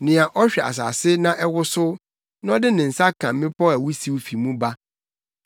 nea ɔhwɛ asase na ɛwosow, na ɔde ne nsa ka mmepɔw a wusiw fi mu ba.